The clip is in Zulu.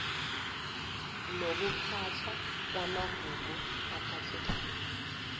nokuphathwa kwamagugu aphathekayo